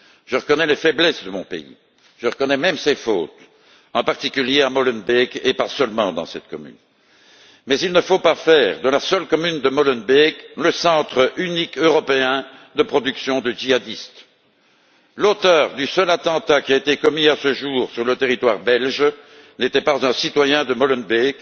Je reconnais les faiblesses de mon pays, je reconnais même ses fautes, en particulier à Molenbeek et pas seulement dans cette commune, mais il ne faut pas faire de la seule commune de Molenbeek le centre unique européen de production de djihadistes. L'auteur du seul attentat qui a été commis à ce jour sur le territoire belge n'était pas un citoyen de Molenbeek,